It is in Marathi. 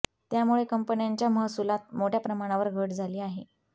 त्यामुळे कंपन्यांच्या महसुलात मोठ्या प्रमाणावर घट झाली आहे